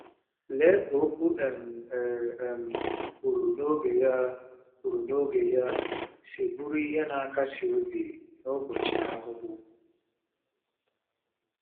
Lee ka “okwu um e um kwuru n’oge ya” kwuru n’oge ya” si bụrụ ihe na-akasi obi n’ụbọchị ahụhụ!